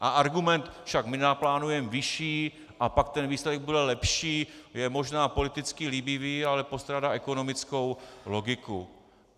A argument "však my naplánujeme vyšší a pak ten výsledek bude lepší" je možná politicky líbivý, ale postrádá ekonomickou logiku.